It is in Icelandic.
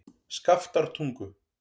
Skaftártungu